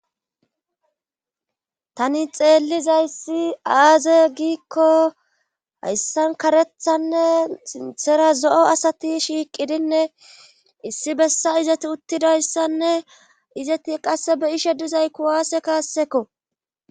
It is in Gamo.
tani xeellizayssi aaze giikko hayssan karethanne sinthera zo7o asati shiiqidinne issi bessa izati uttidayssanne izati qasse be ishe dizay kuwaase kaassekko